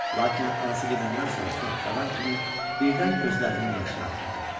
Lakin anası gedəndən sonra tək qalan kimi birdən gözlərinin yaşını axıtdı.